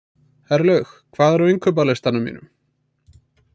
Herlaug, hvað er á innkaupalistanum mínum?